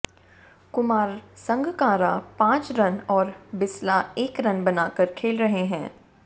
कुमार संगकारा पांच रन और बिसला एक रन बनाकर खेल रहे हैं